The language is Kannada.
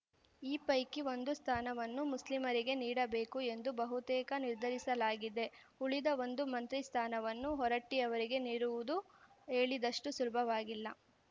ಈ ಪೈಕಿ ಒಂದು ಸ್ಥಾನವನ್ನು ಮುಸ್ಲಿಮರಿಗೆ ನೀಡಬೇಕು ಎಂದು ಬಹುತೇಕ ನಿರ್ಧರಿಸಲಾಗಿದೆ ಉಳಿದ ಒಂದು ಮಂತ್ರಿ ಸ್ಥಾನವನ್ನು ಹೊರಟ್ಟಿ ಅವರಿಗೆ ನೀಡುವುದು ಹೇಳಿದಷ್ಟುಸುಲಭವಾಗಿಲ್ಲ